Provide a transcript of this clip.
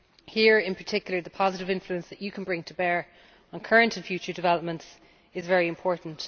Here in particular the positive influence that you can bring to bear on current and future developments is very important.